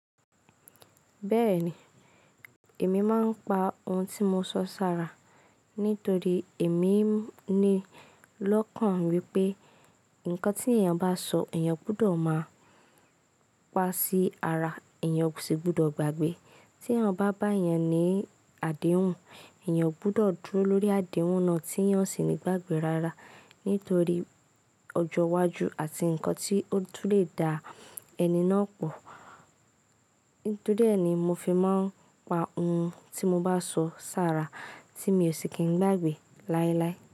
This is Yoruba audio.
Bẹ́ẹ̀ni, èmi máa ń pa ohun tí mo sọ sára nítorí èmi ní lọ́kàn wípé nǹkan tí èèyàn bá sọ èèyàn gbọdọ̀ máa pa sí ara èèyàn sì gbọdọ̀ gbàgbé. Tí èèyàn bá bá èèyàn ní àdéhùn, èèyàn gbọdọ̀ dúró lórí àdéhùn náà tí èèyàn sì o ní gbàgbé rárá nítorí ọjọ́ iwájú àti nǹkan tí ó tun lè dá ẹni náà pọ̀. Nítorí ẹ́ ni mo fi máa ń pa ohun tí mo bá sọ sára tí mi ò sì kí n gbàgbé láéláé.